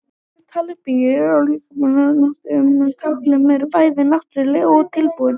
Tákn með tali byggir á líkamstjáningu og notkun tákna sem eru bæði náttúruleg og tilbúin.